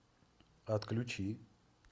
отключи